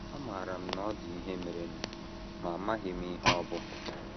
Amaara m na ọ dị ihe merenụ, ma amaghị m ihe ọ bụ.